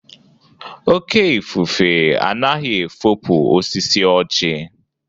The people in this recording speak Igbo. Oke ifufe anaghị efopu osisi ọjị.